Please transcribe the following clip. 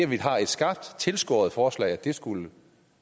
vi har et skarpt tilskåret forslag skulle